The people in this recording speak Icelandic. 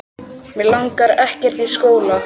Mig langar ekkert í skóla.